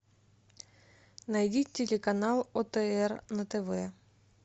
найди телеканал отр на тв